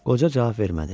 Qoca cavab vermədi.